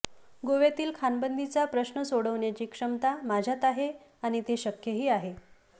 गोव्यातील खाणबंदीचा प्रश्न सोडवण्याची क्षमता माझ्यात आहे आणि ते शक्यही आहे